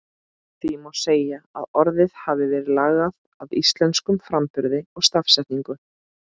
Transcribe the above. Því má segja að orðið hafi verið lagað að íslenskum framburði og stafsetningu.